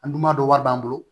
An dun ma dɔ wari b'an bolo